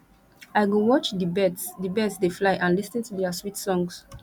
i go watch di birds di birds dey fly and lis ten to their sweet songs